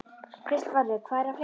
Kristvarður, hvað er að frétta?